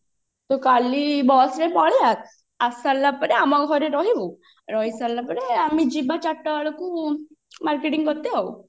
ତ କାଲି bus ରେ ପଳେଇ ଆ ଆସି ସାରିଲା ପରେ ଆମ ଘରେ ରହିବୁ ରହି ସାରିଲା ପରେ ଆମେ ଯିବା ଚାରିଟା ବେଳକୁ marketing କରିତେ ଆଉ